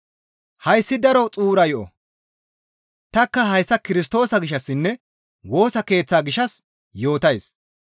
Hayssi daro xuura yo7o; tanikka hayssa Kirstoosa gishshassinne Woosa Keeththa gishshas yootays.